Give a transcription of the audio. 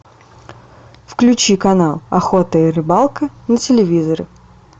включи канал охота и рыбалка на телевизоре